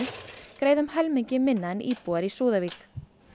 greiða um helmingi minna en íbúar í Súðavík